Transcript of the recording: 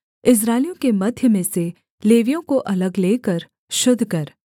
इस्राएलियों के मध्य में से लेवियों को अलग लेकर शुद्ध कर